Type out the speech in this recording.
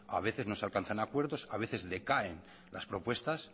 a veces no se alcanzan acuerdos a veces decaen las propuestas